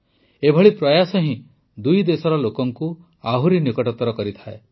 ଏଭଳି ପ୍ରୟାସ ହିଁ ଦୁଇ ଦେଶର ଲୋକଙ୍କୁ ଆହୁରି ନିକଟତର କରିଥାଆନ୍ତି